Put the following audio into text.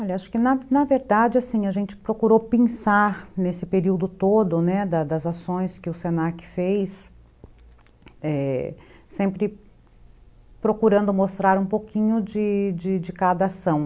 Olha, acho que na na verdade a gente procurou pensar nesse período todo, né, das ações que o se na que fez, sempre procurando mostrar um pouquinho de de de cada ação.